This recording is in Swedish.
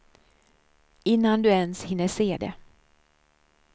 Innan du ens hinner se det.